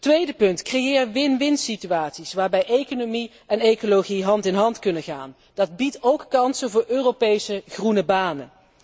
Tweede punt, creëer win win situaties waarbij economie en ecologie hand in hand kunnen gaan dat biedt ook kansen voor Europese groene banen.